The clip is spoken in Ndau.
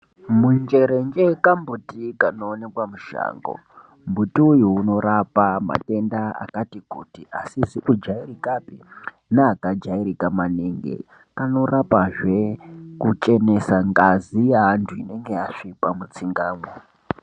Munjerenje kambuti kunoonekwa mushango. Mbuti uyu unorapa matenda akati kuti, asizi kujairikapi neakajairika maningi. Kanorapazve kuchenesa ngazi yaantu inenge yasvipa mutsingamwo.